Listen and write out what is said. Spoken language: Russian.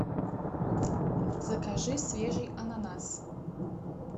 закажи свежий ананас